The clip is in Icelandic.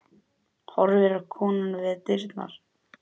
Horfir á konuna við dyrnar.